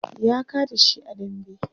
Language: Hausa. ya kada shi a dambe